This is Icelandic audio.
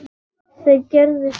Þeir gerðu það.